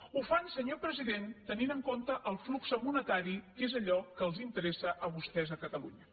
ho fan senyor president tenint en compte el flux monetari que és allò que els interessa a vostès a catalunya